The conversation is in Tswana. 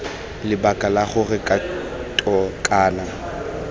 lebaka la gore kgato kana